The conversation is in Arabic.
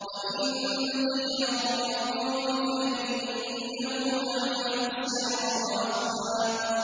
وَإِن تَجْهَرْ بِالْقَوْلِ فَإِنَّهُ يَعْلَمُ السِّرَّ وَأَخْفَى